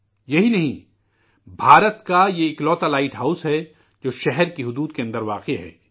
یہی نہیں، ہندوستان کا یہ اکلوتا لائٹ ہاؤس ہے، جو شہر کے حدود کے اندر قائم ہے